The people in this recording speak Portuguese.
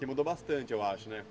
Que mudou bastante, eu acho, né?